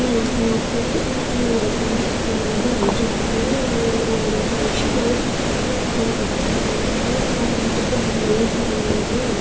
यहां पर एक लड़का खड़ा है जिसने लाल रंग का शर्ट और ब्लैक कलर की पैंट पेहनी हुई हैं।